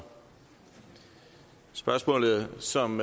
spørgsmålet som